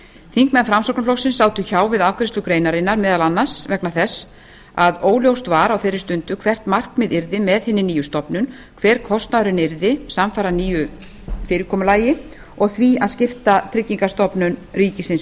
þingmenn framsóknarflokksins sátu hjá við afgreiðslu greinarinnar meðal annars vegna þess að óljóst var á þeirri stundu hvert markmiðið yrði með hinni nýju stofnun hver kostnaðurinn yrði samfara nýju fyrirkomulagi og því að skipta tryggingastofnun ríkisins